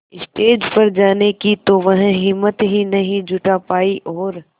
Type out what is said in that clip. stage पर जाने की तो वह हिम्मत ही नहीं जुटा पाई और